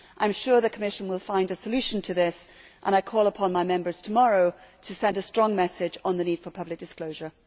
I am sure the Commission will find a solution to this, and I call upon my Members tomorrow to send a strong message on the need for public disclosure.